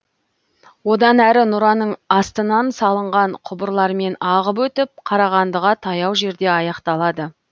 одан әрі нұраның астынан салынған құбырлармен ағып өтіп қарағандыға таяу жерде аяқталады